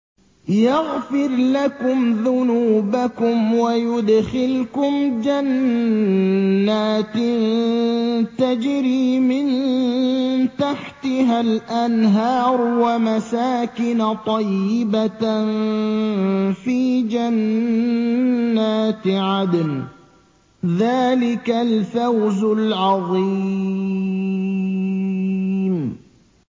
يَغْفِرْ لَكُمْ ذُنُوبَكُمْ وَيُدْخِلْكُمْ جَنَّاتٍ تَجْرِي مِن تَحْتِهَا الْأَنْهَارُ وَمَسَاكِنَ طَيِّبَةً فِي جَنَّاتِ عَدْنٍ ۚ ذَٰلِكَ الْفَوْزُ الْعَظِيمُ